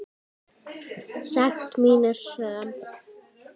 Sekt mín er söm.